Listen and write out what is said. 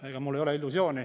Ega mul ei ole illusiooni.